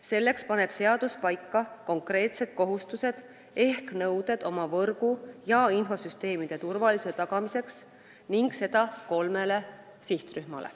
Selleks seab seadus konkreetsed kohustused ehk nõuded oma võrgu ja infosüsteemi turvalisuse tagamiseks, seda kolmele sihtrühmale.